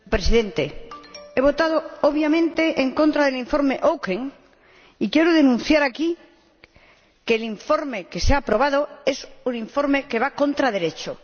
Señor Presidente, he votado, obviamente, en contra del Informe Auken y quiero denunciar aquí que el informe que se ha aprobado es un informe que va contra Derecho.